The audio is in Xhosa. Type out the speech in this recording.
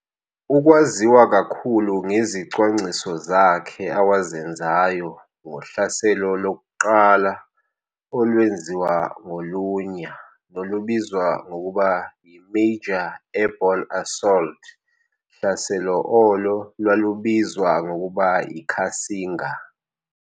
Ukwaziwa kakhulu ngezicwangciso zakhe awazenzayo ngohlaselo lokuqala olwenziwa ngolunya nolubizwa ngokuba yi"major airborne assault hlaselo olo lwalubizwa ngokuba yi"Cassinga.